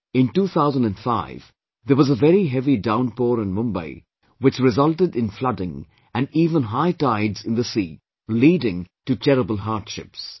In 2005, there was a very heavy downpour in Mumbai, which resulted in flooding, and even high tides in the sea, leading to terrible hardships